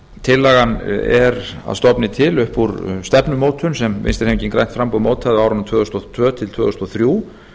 tillagan er að stofni til upp úr stefnumótun sem vinstri hreyfingin grænt framboð mótaði á árunum tvö þúsund og tvö til tvö þúsund og þrjú